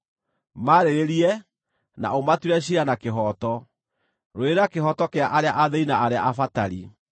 Maarĩrĩrie, na ũmatuĩre ciira na kĩhooto; rũĩrĩra kĩhooto kĩa arĩa athĩĩni na arĩa abatari.”